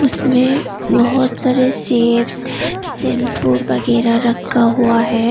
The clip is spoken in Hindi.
इसमें बहोत सारे शैंपू वगैरह रखा हुआ है।